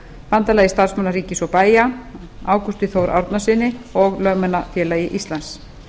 bandalagi starfsmanna ríkis og bæja ágústi þór árnasyni og lögmannafélagi íslands